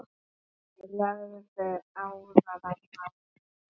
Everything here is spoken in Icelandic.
Þeir lögðu árar í bát.